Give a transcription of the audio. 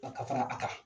Ka fara a kan